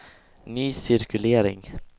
ny cirkulering